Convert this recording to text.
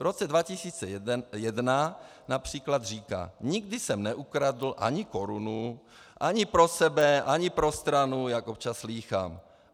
V roce 2001 například říká: Nikdy jsem neukradl ani korunu ani pro sebe ani pro stranu, jak občas slýchám.